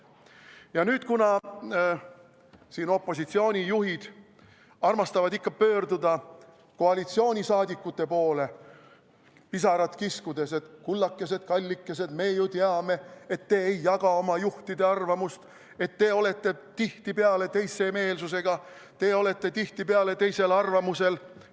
Ja nüüd, kuna opositsioonijuhid armastavad ikka pöörduda koalitsiooni liikmete poole pisarat kiskudes, et, kullakesed-kallikesed, me ju teame, et te ei jaga oma juhtide arvamust, et te olete tihtipeale teise meelsusega, te olete tihtipeale teisel arvamusel ...